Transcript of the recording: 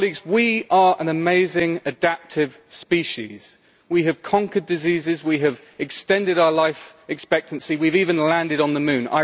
We are an amazing, adaptive species. We have conquered diseases, we have extended our life expectancy and we have even landed on the moon.